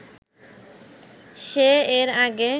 সে এর আগে